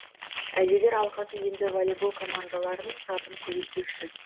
әжелер алқасы енді волейбол командаларының сапын көбейтпекші